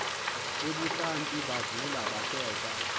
ebuhlanti bavula bakhetha